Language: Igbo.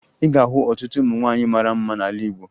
Ị ga-ahụ ọtụtụ ụmụ nwaanyị mara mma n'ala Igbo